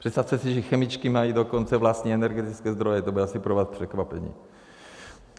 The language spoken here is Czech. Představte si, že chemičky mají dokonce vlastní energetické zdroje, to bude asi pro vás překvapení.